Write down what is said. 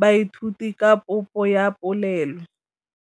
baithuti ka popô ya polelô.